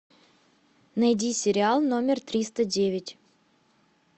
найди сериал номер триста девять